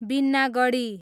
Binnagadhi